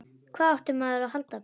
Hvað átti maður að halda?